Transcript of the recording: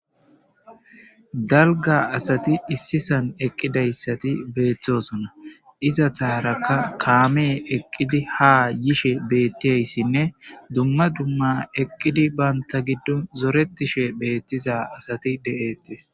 Dalga asati issi sihon eqidaysati betosona izataraka kame eqidi ha yishe dizaysinne duma duma eqidine banta gidon zoretishe betiza asati detes